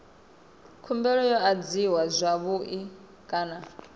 khumbelo yo adziwa zwavhui kana